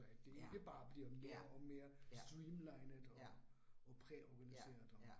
At det ikke bare bliver mere og mere streamlinet og og præorganiseret og